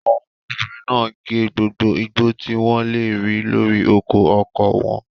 Àwọn obìnrin náà gé gbogbo igbó tí wọ́n lè rí lórí oko ọkọ wọn.